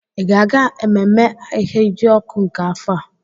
Ị ga-aga ememme Ahiajọkụ nke afọ a?